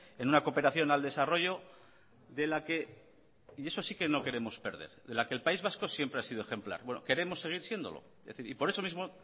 en una cooperación al desarrollo de la que y eso sí que no queremos perder el país vasco siempre ha sido ejemplar bueno queremos seguir siéndolo por eso mismo